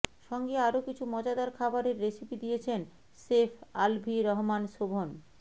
সঙ্গে আরও কিছু মজাদার খাবারের রেসিপি দিয়েছেন শেফ আলভী রহমান শোভন